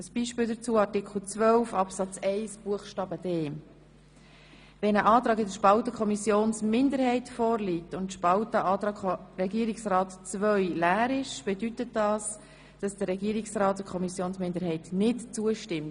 Ein Beispiel dazu zeigt Artikel 12 Absatz 1 Buchstzabe d. Wenn ein Antrag in der Spalte Kommissionsminderheit vorliegt und die Spalte Antrag Regierungsrat II leer ist, bedeutet das, dass der Regierungsrat der Kommissionsminderheit nicht zustimmt.